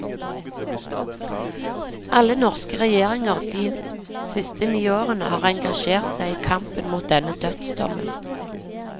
Alle norske regjeringer de siste ni årene har engasjert seg i kampen mot denne dødsdommen.